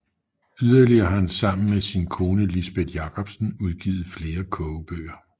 Yderligere har han i samarbejde med sin kone Lisbeth Jacobsen udgivet flere kogebøger